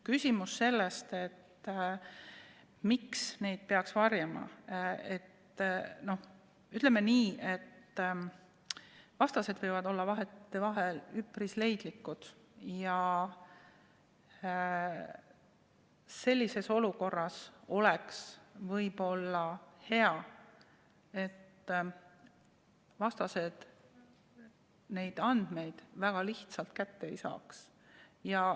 Küsimus sellest, miks neid peaks varjama – ütleme nii, et vastased võivad vahetevahel olla üpris leidlikud ja sellises olukorras oleks võib-olla hea, kui vastased neid andmeid väga lihtsalt kätte ei saaks.